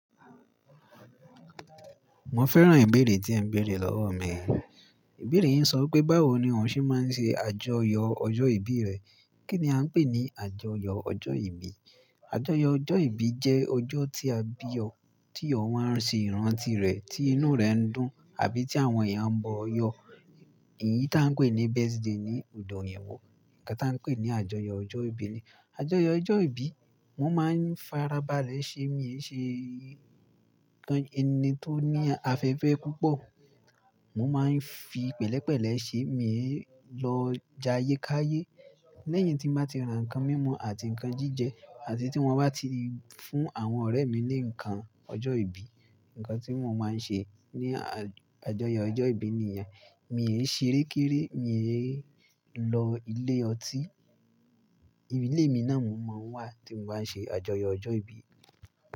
Mo fẹ́ràn ìbéèrè tí ẹ béèrè lọ́wọ́ mi. Ìbéèrè yín sọ pé báwo ni òun ṣe máa ń ṣe àjọyọ̀ ọjọ́ ìbí rẹ. Kí ni a ń pè ní àjọyọ̀ ọjọ́ ìbí? Àjọyọ̀ ọjọ́ ìbí jẹ́ ọjọ́ tí a bí ọ, tí ọ wa á ṣe ìrántí rẹ̀ tí inú rẹ̀ ń dùn àbí tí àwọn èèyàn ń bọ yọ. Èyí tá a ń pè ní birthday ní odò yẹn wò. Ǹkan tá a ń pè ní àjọyọ̀ ọjọ́ ìbí ni. Àjọyọ̀ ọjọ́ ìbí, wọ́n máa ń farabalẹ̀ ṣe èmi ẹ̀ ṣe ẹni tó ní afẹ́fẹ́ púpọ̀. Mo máa ń fi pẹ̀lẹ́pẹ̀lẹ̀ ṣe èmi ẹ̀ lọ jayékayé. Lẹ́yìn tí mo bá ti ra ǹkan mímu àti ǹkan jíjẹ àti tí wọ́n bá ti fún àwọn ọ̀rẹ́ mi ní ǹkan ọjọ́ ìbí, ǹkan tí wọ́n máa ń ṣe ní àjọyọ̀ ọjọ́ ìbí ènìyàn. Mi ò ṣe rékéré, mi ò lọ ilé ọtí. Ìdílé mi náà mọ̀ ọ́n wà tí mo bá ṣe àjọyọ̀ ọjọ́ ìbí.